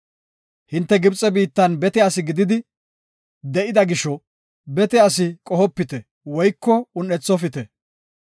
Hinte Gibxe biittan bete asi gididi, de7ida gisho, bete asi qohopite woyko un7ethofite.